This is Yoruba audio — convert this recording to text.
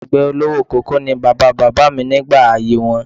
Àgbẹ̀ olówó koko ni bàbá bàbá mi nígbà ayé wọn